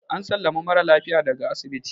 an sallami mara lafiya daga asibiti